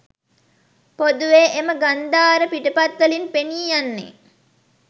පොදුවේ, එම ගන්ධාර පිටපත්වලින් පෙනීයන්නේ